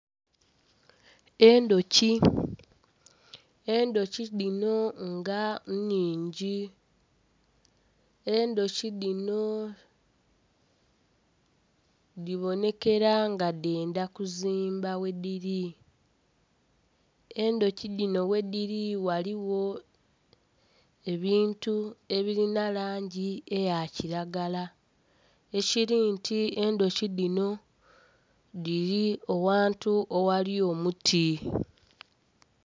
Endhuki, endhuki dhino nga nnhingi endhuki dhino dhibonekera nga dhendha kuzimba ghedhiri. Edhuki dhino ghedhiri ghaligho ebintu ebirinha langi eya kiragala ekiri nti endhuki dhino dhiri aghantu aghali omuti.